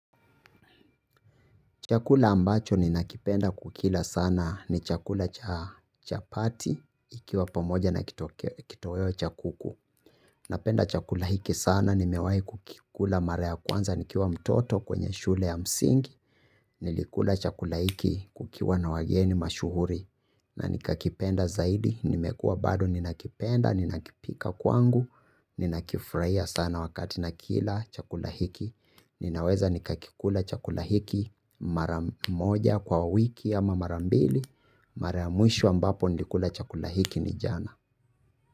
Chakula ambacho ninakipenda kukila sana ni chakula cha chapati ikiwa pamoja na kitoweo cha kuku. Napenda chakula hiki sana nimewai kukikula mara ya kwanza nikiwa mtoto kwenye shule ya msingi. Nilikula chakula hiki kukiwa na wageni mashuhuri na nikakipenda zaidi. Nimekua bado ninakipenda ninakipika kwangu ni nakifraia sana wakati nakila chakula hiki. Ninaweza nikakikula chakula hiki maramoja kwa wiki ama marambili. Mara muisho ambapo nilikula chakula hiki ni jana.